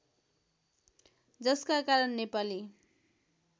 जसका कारण नेपाली